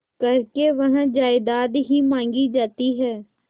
करके वह जायदाद ही मॉँगी जाती है